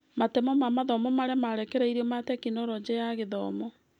Matemo ma mathomo marĩa marekereirio ma Tekinoronjĩ ya Githomo.